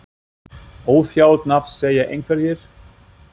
Óþjált nafn segja einhverjir?